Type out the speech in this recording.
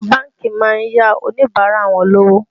Àwọn bánkì má ń yá Oníbàárà wọn lówó